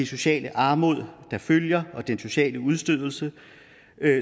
sociale armod der følger og den sociale udstødelse